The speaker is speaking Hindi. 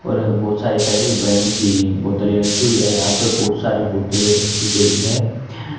और बहोत सारी तरह की ब्रांड की बोतलें रखी हुई है यहां पर बहुत सारी बोतलें रखी गई हैं।